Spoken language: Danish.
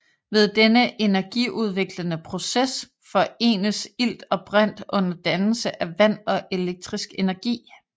Ved den energiudviklende proces forenes ilt og brint under dannelse af vand og elektrisk energi